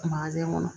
Manjɛ kɔnɔ